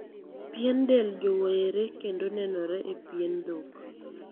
Pien del jowore kendo nenore e pien dhok.